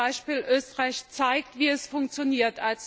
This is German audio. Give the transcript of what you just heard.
Das gute Beispiel Österreich zeigt, wie es funktioniert.